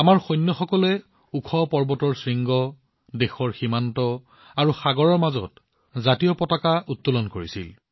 আমাৰ সৈন্যসকলে ওখ পৰ্বতৰ শৃংগ দেশৰ সীমা আৰু সাগৰৰ মাজত ত্ৰিৰংগা উত্তোলন কৰিছিল